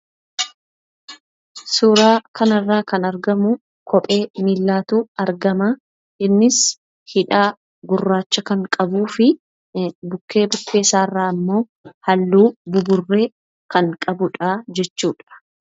Suuraa kana irraa argamu kophee miillaatu argama. Innis hidhaa gurraacha kan qabuu fi bukkee bukkee isaa irraa ammoo haalluu buburree kan qabudha jechuudha.